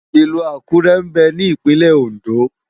Ilù Akure mbè ni Ipinlè Óndó